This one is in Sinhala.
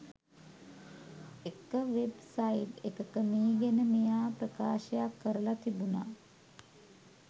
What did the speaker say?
එක වෙබ් සයිට් එකක මේ ගැන මෙයා ප්‍රකාශයක් කරලා තිබුණා